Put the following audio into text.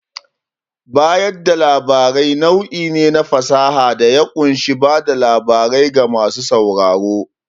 Bayar da labarai nau'i ne na fasaha da ya ƙunshi bada labarai ga masu sauraro.